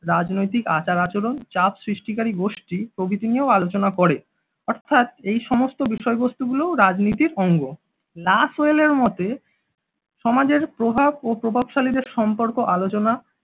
রাজনৈতিক আচার-আচরণ চাপ সৃষ্টিকারী গোষ্ঠী প্রভৃতি নিয়েও আলোচনা করে, অর্থাৎ এই সমস্ত বিষয়বস্তুগুলোও রাজনীতির অঙ্গ নাসওয়েলের মতে সমাজের প্রভাব ও প্রভাবশালীদের সম্পর্ক আলোচনা